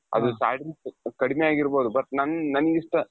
ಅದು starting ಸ್ವಲ್ಪ ಕಡಿಮೆ ಆಗಿರ್ಬೌದು but ನಮ್ಗೆ ನಮ್ಮಿಷ್ಟ,